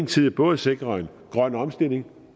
tid både sikrer en grøn omstilling